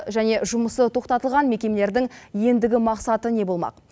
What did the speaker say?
және жұмысы тоқтатылған мекемелердің ендігі мақсаты не болмақ